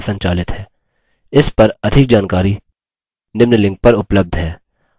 इस पर अधिक जानकारी निम्न लिंक पर उपलब्ध है